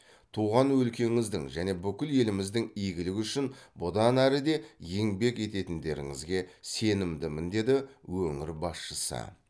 туған өлкеңіздің және бүкіл еліміздің игілігі үшін бұдан әрі де еңбек ететіндеріңізге сенімдімін деді өңір басшысы